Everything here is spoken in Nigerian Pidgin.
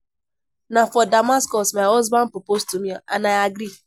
Na for Damascus my husband propose to me and I agree